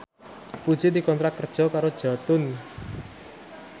Puji dikontrak kerja karo Jotun